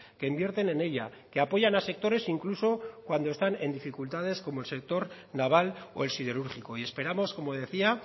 que invierten en ella que apoyan a sectores incluso cuando están en dificultades como el sector naval o el siderúrgico y esperamos como decía